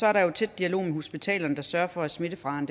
er der jo tæt dialog med hospitalerne der sørger for at smittefaren